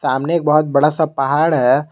सामने एक बहुत बड़ा सा पहाड़ है।